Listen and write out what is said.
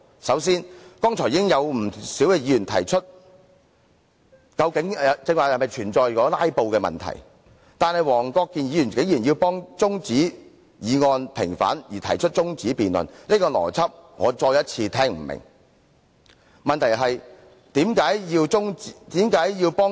首先，已經有不少議員提出剛才是否存在"拉布"的問題，但黃議員竟然因為要替中止待續議案平反而提出中止辯論，我再次聽不明白這個邏輯。